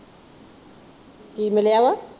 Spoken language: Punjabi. ਕੀ ਮਿਲਿਆ ਵਾ?